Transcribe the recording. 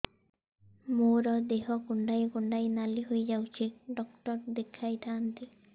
ମୋର ଦେହ କୁଣ୍ଡେଇ କୁଣ୍ଡେଇ ନାଲି ହୋଇଯାଉଛି ଡକ୍ଟର ଦେଖାଇ ଥାଆନ୍ତି